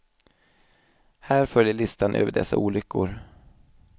Här följer listan över dessa olyckor.